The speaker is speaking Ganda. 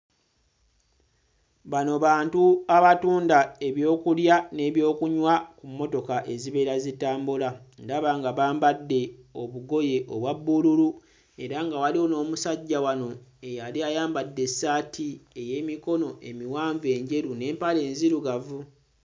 Bano bantu abatunda ebyokulya ne byokunywa ku mmotoka ezibeera zitambula, ndaba nga bambadde obugoye obwa bbululu era nga waliwo n'omusajja wano eyali ayambadde essaati ey'emikono emiwanvu enjeru n'empale enzirugavu.